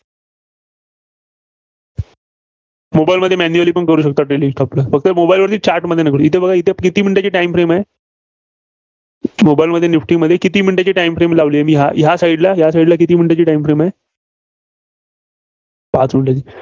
mobile मध्ये manually पण करू शकता. trading stock ला. फक्त mobile वरती Chart वरती नका करू. इथं बघा इथं किती minute ची time frame आहे. mobile मध्ये निफ्टीमध्ये किती minute ची time frame लावली आहे मी? या side ला किती minute ची time frame आहे. पाच minute ची